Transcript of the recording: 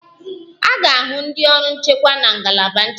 A ga-ahụ ndị ọrụ nchekwa na ngalaba nchekwa